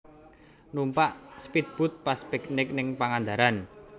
Numpak spead boat pas piknik ning Pangandaran